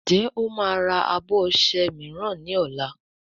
Njé o má rà abọ ọṣẹ míràn ní ol?